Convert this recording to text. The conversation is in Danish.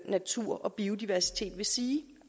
natur og biodiversitet vil sige